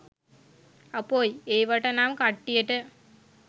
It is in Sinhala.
අපොයි ඒවට නම් කට්ටියට